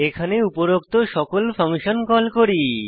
এখানে উপরোক্ত সকল ফাংশন কল করি